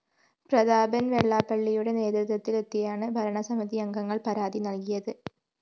പ്രതാപന്‍വെള്ളാപ്പള്ളിയുടെ നേതൃത്വത്തിലെത്തിയാണ് ഭരണ സമിതിയംഗങ്ങള്‍ പരാതി നല്കിയത്